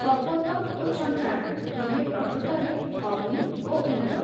କପୋତ ଓ ଛଞ୍ଚାଣ ଦୁହେଁ ପ୍ରକୃତରେ ଅଗ୍ନି ଓ ଇନ୍ଦ୍ର ।